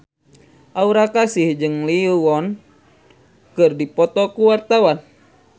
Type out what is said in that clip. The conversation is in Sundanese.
Aura Kasih jeung Lee Yo Won keur dipoto ku wartawan